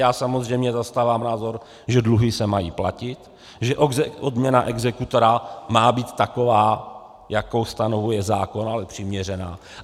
Já samozřejmě zastávám názor, že dluhy se mají platit, že odměna exekutora má být taková, jakou stanovuje zákon, ale přiměřená.